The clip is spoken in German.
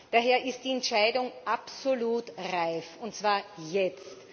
Daher ist die Entscheidung absolut reif und zwar jetzt.